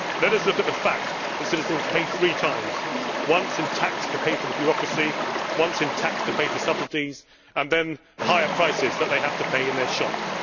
Let us look at the fact that citizens pay three times once in tax to pay for the bureaucracy, once in tax to pay for subsidies, and then the higher prices that they have to pay in their shops.